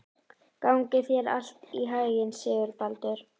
Gangi þér allt í haginn, Sigurbaldur.